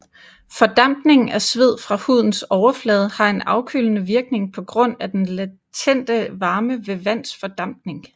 Fordampningen af sved fra hudens overflade har en afkølende virkning på grund af den latente varme ved vands fordampning